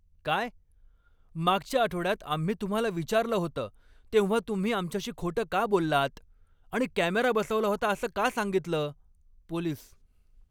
काय? मागच्या आठवड्यात आम्ही तुम्हाला विचारलं होतं तेव्हा तुम्ही आमच्याशी खोटं का बोललात आणि कॅमेरा बसवला होता असं का सांगितलं? पोलीस